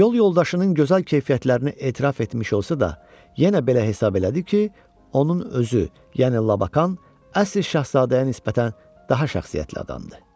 Yol yoldaşının gözəl keyfiyyətlərinə etiraf etmiş olsa da, yenə belə hesab elədi ki, onun özü, yəni Lakan əsl şahzadəyə nisbətən daha şəxsiyyətli adamdır.